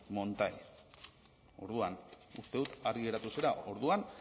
montai orduan uste dut argi geratu zela orduan